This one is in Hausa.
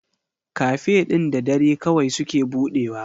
Cafe ɗin da dare kawai suke budewa.